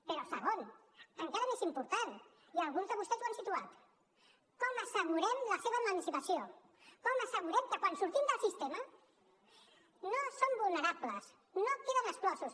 però segon encara més important i alguns de vostès ho han situat com assegurem la seva emancipació com assegurem que quan surtin del sistema no són vulnerables no en queden exclosos